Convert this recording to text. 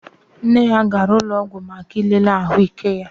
Nna ya gara ụlọọgwụ maka ilele ahụike ya